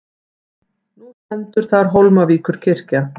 Nú stendur þar Hólmavíkurkirkja.